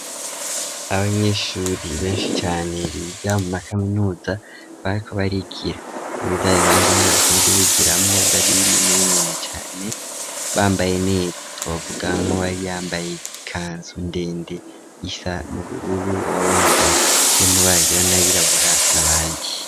Abanyeshure benshi cane biga mu makaminuza bariko barigira muri byab banze ane basanzwe bigira mwo bibari binini binini cane bambaye neta twavuga nko bari yambaye ikanzu ndende isa n'ubururu wa rwambaye amabara yera nayirabura n'ayandi.